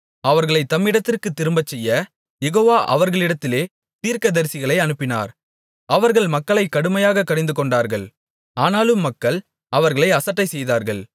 அவர்களைத் தம்மிடத்திற்குத் திரும்பச்செய்ய யெகோவா அவர்களிடத்திலே தீர்க்கதரிசிகளை அனுப்பினார் அவர்கள் மக்களைக் கடுமையாகக் கடிந்து கொண்டார்கள் ஆனாலும் மக்கள் அவர்களை அசட்டைசெய்தார்கள்